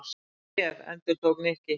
Hvaða bréf? endurtók Nikki.